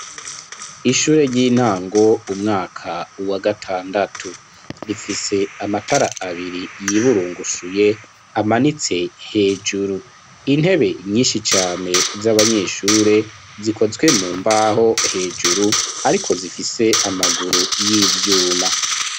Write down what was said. Ishure ry'intango, umwaka wa gatandatu; rifise amatara, abiri, yiburungushuye, amanitse hejuru; intebe, nyinshi cane, z'abanyeshure, zikozwe mu mbaho, hejuru, ariko, zifise amaguru, y'ivyuma.